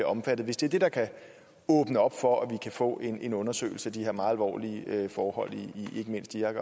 omfattet hvis det er det der kan åbne op for at vi kan få en undersøgelse af de her meget alvorlige forhold i ikke mindst irak